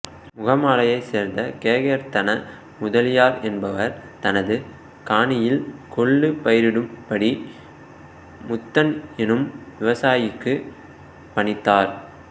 முகமாலையை சேர்ந்த கேகயர்த்தன முதலியார் என்பவர் தனது காணியில் கொள்ளு பயிரிடும்படி முத்தன் எனும் விவசாயிக்கு பணித்தார்